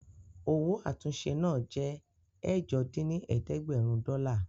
Owó àtúnṣe náà jẹ́ ẹ̀jọ dín ní ẹ̀ẹ́dẹ́gbẹ́rún dọ́là